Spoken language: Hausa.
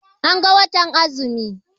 An ga watan azumi.